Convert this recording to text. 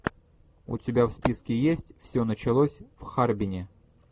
у тебя в списке есть все началось в харбине